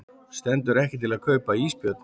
Stendur ekki til að kaupa ísbjörn